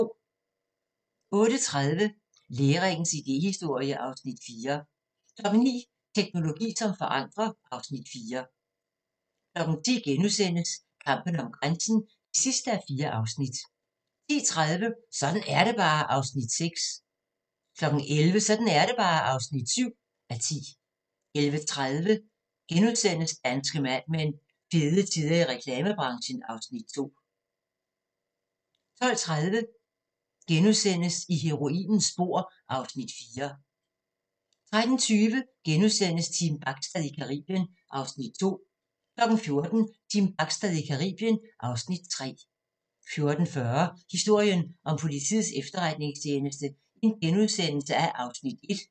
08:30: Læringens idéhistorie (Afs. 4) 09:00: Teknologi som forandrer (Afs. 4) 10:00: Kampen om grænsen (4:4)* 10:30: Sådan er det bare (6:10) 11:00: Sådan er det bare (7:10) 11:30: Danske Mad Men: Fede tider i reklamebranchen (Afs. 2)* 12:30: I heroinens spor (Afs. 4)* 13:20: Team Bachstad i Caribien (Afs. 2)* 14:00: Team Bachstad i Caribien (Afs. 3) 14:40: Historien om Politiets Efterretningstjeneste (Afs. 1)*